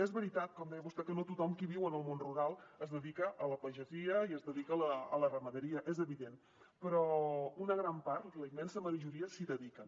és veritat com deia vostè que no tothom qui viu en el món rural es dedica a la pagesia i es dedica a la ramaderia és evident però una gran part la immensa majoria s’hi dediquen